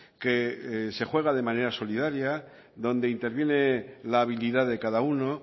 que se juega de manera solidaria donde interviene la habilidad de cada uno